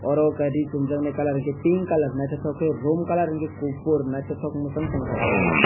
aro unkempt ree chum jaknai colour unkempt pink colour nythoktoke ke room colour unke kufur mwchang toko obo.